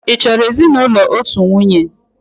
Ị chọrọ ezinụlọ otu nwunye?